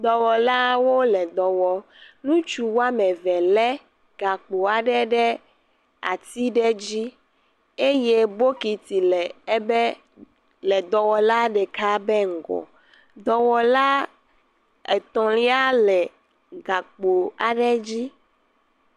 Dɔwɔlawo le dɔ wɔ, ŋutsu woame eve aɖe lé gakpo aɖe ɖe ati ɖe dzi eye bokiti le ebe..dɔwɔla ɖeka be ŋgɔ, dɔwɔla etɔ̃lia le gakpo aɖe dzi.